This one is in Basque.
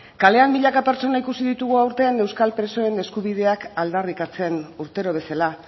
kalean milaka pertsona ikusi ditugu aurten euskal presoen eskubideak aldarrikatzen urtero bezala